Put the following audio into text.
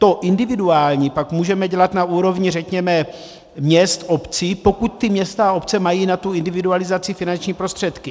To individuální pak můžeme dělat na úrovni řekněme měst, obcí, pokud ta města a obce mají na tu individualizaci finanční prostředky.